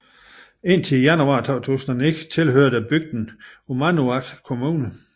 Indtil januar 2009 tilhørte bygden Uummannaq Kommune